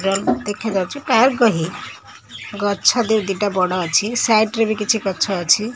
ଦେଖାଯାଉଚି କାହାକୁ କହି ଗଛ ଦୁଇ ଦିଟା ବଡ ଅଛି ସାଇଟ ର ବି କିଛି ଗଛ ଅଛି।